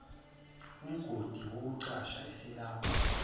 umgodi wokucasha eselapha